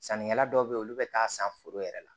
Sannikɛla dɔw be yen olu be taa san foro yɛrɛ la